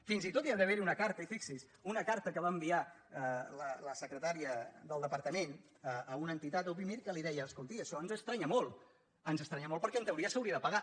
fins i tot hi ha d’haver una carta i fixi’s una carta que va en·viar la secretària del departament a una entitat a upi·mir que li deia escolti això ens estranya molt ens estranya molt perquè en teoria s’hauria de pagar